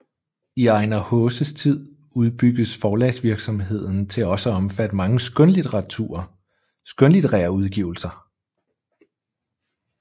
I Ejnar Haases tid udbygges forlagsvirksomheden til også at omfatte mange skønlitterære udgivelser